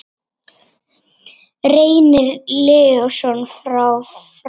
Reynir Leósson frá Fram